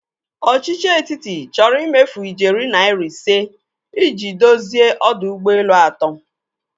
Ọchichi etiti chọrọ ịmefu ijeri naira ise i ji dozie ọdọ ụgbọelu atọ.